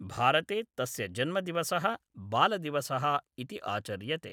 भारते तस्य जन्मदिवसः बालदिवसः इति आचर्यते।